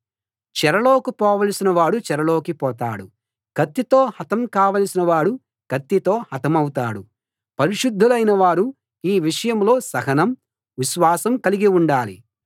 చెరలోకి పోవలసిన వాడు చెరలోకి పోతాడు కత్తితో హతం కావలసిన వాడు కత్తితో హతమౌతాడు పరిశుద్ధులైన వారు ఈ విషయంలో సహనం విశ్వాసం కలిగి ఉండాలి